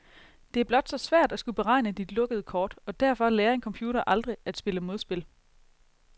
Det er blot så svært at skulle beregne de lukkede kort, og derfor lærer en computer aldrig at spille modspil.